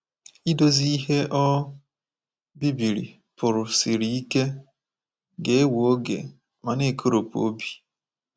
Idozi ihe o bibiri pụrụ siri ike, ga-ewe oge, ma na-ekoropụ obi.